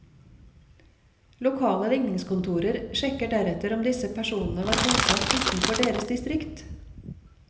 Lokale ligningskontorer sjekket deretter om disse personene var bosatt utenfor deres distrikt.